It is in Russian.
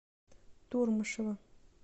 турмышева